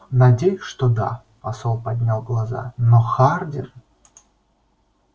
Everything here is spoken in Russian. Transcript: надеюсь что да посол поднял глаза но хардин